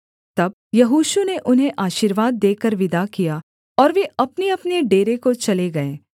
तब यहोशू ने उन्हें आशीर्वाद देकर विदा किया और वे अपनेअपने डेरे को चले गए